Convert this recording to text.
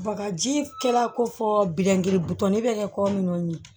Bagaji kɛra kofɔ biɲɛdiri butɔni bɛ kɛ ko minnu ye